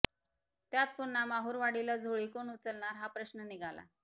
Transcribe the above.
त्यात पुन्हा महुरवाडीला झोळी कोण उचलणार हा प्रश्न निघाला